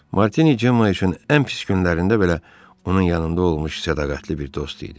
Martini Cemma üçün ən pis günlərində belə onun yanında olmuş sadiqətli bir dost idi.